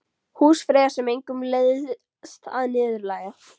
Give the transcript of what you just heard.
Húsfreyja sem engum leiðst að niðurlægja.